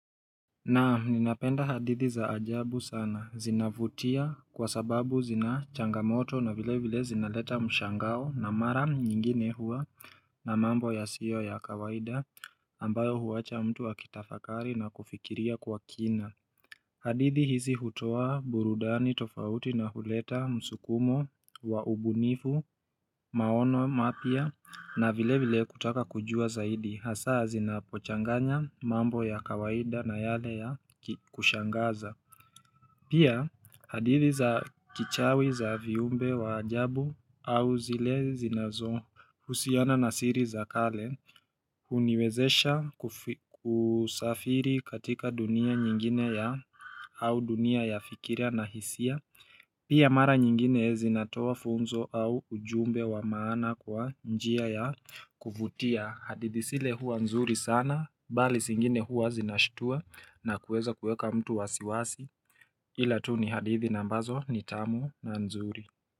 Naam ninapenda hadithi za ajabu sana zinavutia kwa sababu zinachangamoto na vile vile zinaleta mshangao na maram nyingine hua na mambo ya sio ya kawaida ambayo huwacha mtu akitafakari na kufikiria kwa kina hadithi hizi hutoa burudani tofauti na huleta msukumo wa ubunifu maono mapya na vile vile kutaka kujua zaidi hasaa zinapochanganya mambo ya kawaida na yale ya kushangaza. Pia hadithi za kichawi za viumbe wa ajabu au zile zinazo husiana na siri za kale huniwezesha kusafiri katika dunia nyingine ya au dunia ya fikira na hisia. Pia mara nyingine zinatoa funzo au ujumbe wa maana kwa njia ya kuvutia. Hadithi sile huwa nzuri sana bali Singine huwa zinashtua na kueza kueka mtu wasiwasi, ila tu ni hadithi nambazo ni tamu na nzuri.